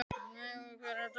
Nói, hvernig er dagskráin?